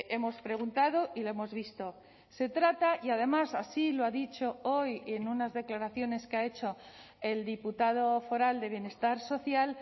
hemos preguntado y lo hemos visto se trata y además así lo ha dicho hoy en unas declaraciones que ha hecho el diputado foral de bienestar social